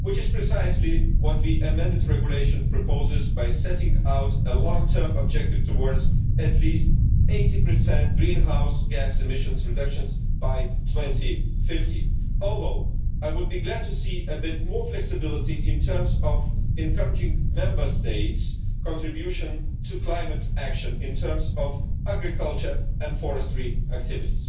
which is precisely what the amended regulation proposes by setting out a long term objective towards at least 80 greenhouse gas emissions reductions by 2050. Although, I would be glad to see a bit more flexibility in terms of encouraging Member States' contribution to climate action in terms of agriculture and forestry activities.